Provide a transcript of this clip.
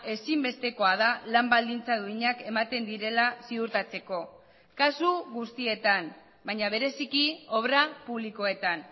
ezinbestekoa da lan baldintza duinak ematen direla ziurtatzeko kasu guztietan baina bereziki obra publikoetan